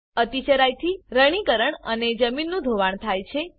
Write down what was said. અતિ ચરાઈ થી રણીકરણ અને જમીનનું ધોવાણ થાય છે